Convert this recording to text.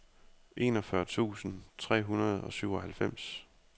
enogfyrre tusind tre hundrede og syvoghalvfems